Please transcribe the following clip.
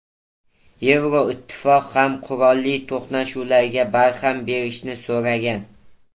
Yevroittifoq ham qurolli to‘qnashuvlarga barham berishni so‘ragan.